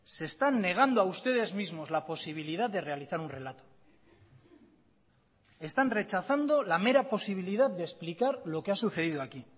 se están negando a ustedes mismos la posibilidad de realizar un relato están rechazando la mera posibilidad de explicar lo que ha sucedido aquí